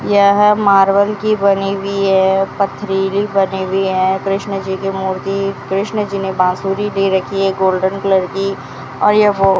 यह मार्बल की बनी हुई है पथरीली बनी हुई है कृष्ण जी की मूर्ति कृष्ण जी ने बांसुरी दे रखी है गोल्डन कलर की और यह वो --